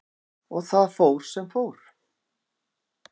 Og það fór sem fór.